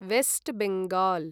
waste Bengal